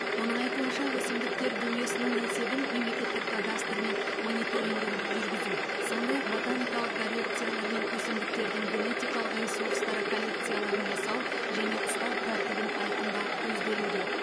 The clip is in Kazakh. оның айтуынша өсімдіктер дүниесінің есебін мемлекеттік кадастр мен мониторингін жүргізу сондай ақ ботаникалық коррекциялар мен өсімдіктердің генетикалық ресурстары коллекцияларын жасау және ұстау тәртібін айқындау көзделуде